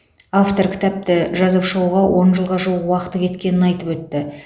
автор кітапты жазып шығуға он жылға жуық уақыты кеткенін айтып өтті